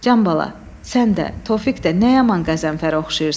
Can bala, sən də, Tofiq də nəyə aman qəzəmfərə oxşayırsız.